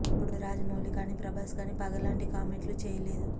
అప్పుడు రాజమౌళి కానీ ప్రభాస్ కానీ పగ లాంటి కామెంట్లు చేయలేదు